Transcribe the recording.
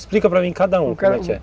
Explica para mim cada um, como é que é?